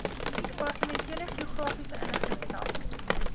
departementele geografiese inligtingstelsel